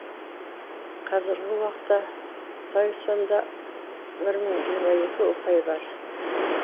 қазіргі уақытта тайсонда бір мың жиырма екі ұпай бар